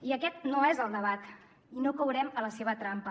i aquest no és el debat i no caurem a la seva trampa